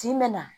Tin bɛ na